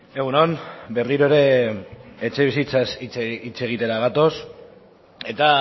egun on berriro ere etxebizitzaz hitz egitera gatoz eta